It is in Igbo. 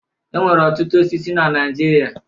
E nwere ọtụtụ osisi na Naijiria.